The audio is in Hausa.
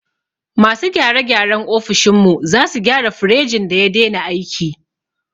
Masu gyare gyaren ofishin mu sazu gyara firejin da ya dena aiki